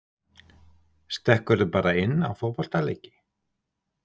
Stekkurðu bara inn á fótboltaleiki?